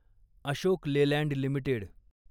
Ashok Leyland limited